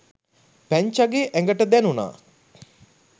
පැංචාගේ ඇඟට දැණුනා